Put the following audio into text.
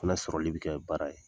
O fɛnɛ sɔrɔli bi kɛ baara ye.